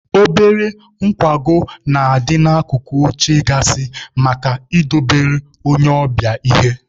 Obere nkwago na-adị n'akụkụ oche gaasị maka idobelu onye ọbịa ihe.